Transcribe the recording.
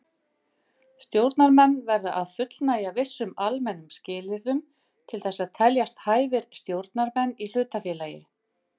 Stjórnarmenn verða að fullnægja vissum almennum skilyrðum til þess að teljast hæfir stjórnarmenn í hlutafélagi.